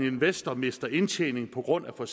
investor mister indtjening på grund af for